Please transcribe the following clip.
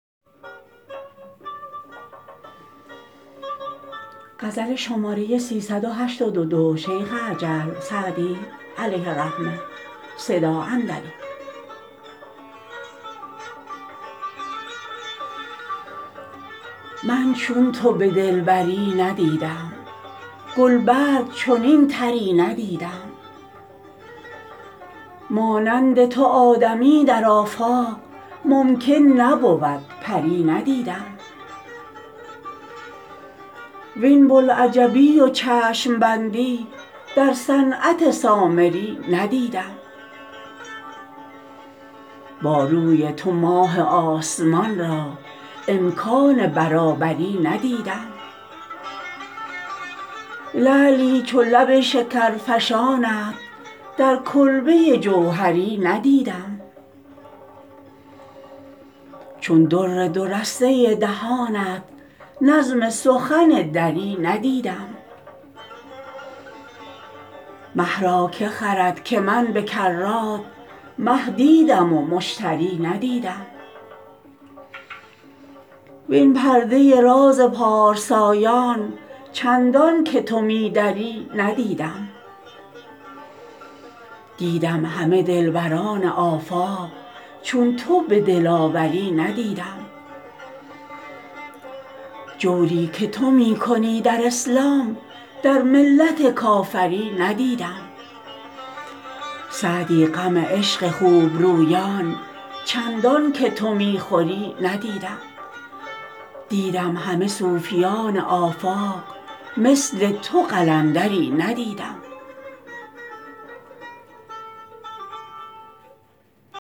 من چون تو به دلبری ندیدم گل برگ چنین طری ندیدم مانند تو آدمی در آفاق ممکن نبود پری ندیدم وین بوالعجبی و چشم بندی در صنعت سامری ندیدم با روی تو ماه آسمان را امکان برابری ندیدم لعلی چو لب شکرفشانت در کلبه جوهری ندیدم چون در دو رسته دهانت نظم سخن دری ندیدم مه را که خرد که من به کرات مه دیدم و مشتری ندیدم وین پرده راز پارسایان چندان که تو می دری ندیدم دیدم همه دلبران آفاق چون تو به دلاوری ندیدم جوری که تو می کنی در اسلام در ملت کافری ندیدم سعدی غم عشق خوب رویان چندان که تو می خوری ندیدم دیدم همه صوفیان آفاق مثل تو قلندری ندیدم